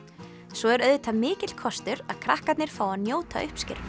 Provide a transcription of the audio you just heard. svo er auðvitað mikill kostur að krakkarnir fá að njóta uppskerunnar